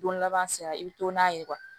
Don laban sera i bɛ to n'a ye